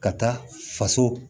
Ka taa faso